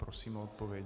Prosím o odpověď.